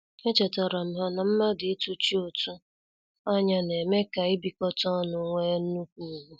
Echetaram ha na mmadụ ị tuchi ụtụ anya na-eme ka ibikota ọnu wee nnukwu ugwu.